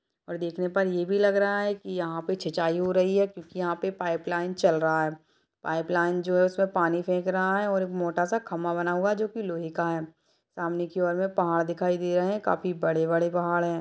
और देखने पर ये भी लग रहा है की यहाँ पे छिछाई हो रही है क्युकी यहाँ पे पाइपलाइन चल रहा है पाइपलाइन जो है उसपे पानी फेक रहा है और मोटा सा खंबा बना हुआ है जो की लोहे का है सामने की और में पहाड़ दिखाई दे रहे है काफी बड़े-बड़े पहाड़ है।